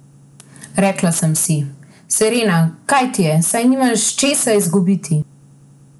Rekla sem si: 'Serena, kaj ti je, saj nimaš česa izgubiti.